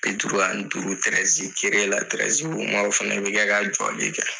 Bi duuru ani duuru o fana bɛ kɛ ka jɔli kɛ.